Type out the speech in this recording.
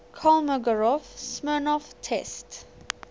kolmogorov smirnov test